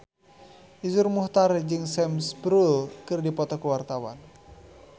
Iszur Muchtar jeung Sam Spruell keur dipoto ku wartawan